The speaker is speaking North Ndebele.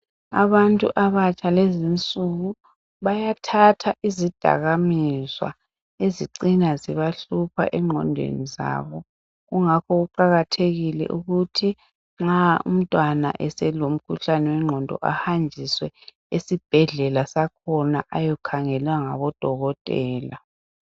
Abantu abatsha kulezinsuku, bayathatha izidakamizwa ezicina zibahlupha engqondweni zabo, kungakho kuqakathekile ukuthi nxa umntwana eselomkhuhlane wengqondo, ahanjiswe esibhedlela sakhona ayokhangelwa ngabodokotela.